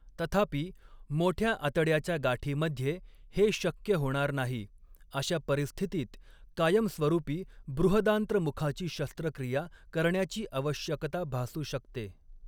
तथापि, मोठ्या आतड्याच्या गाठीमध्ये हे शक्य होणार नाही, अशा परिस्थितीत कायमस्वरूपी बृहदांत्रमुखाची शस्त्रक्रिया करण्याची आवश्यकता भासू शकते.